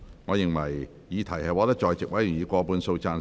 我認為議題獲得在席委員以過半數贊成。